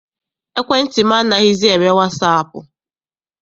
Ekwentị m anaghịzi eme wasaapụ.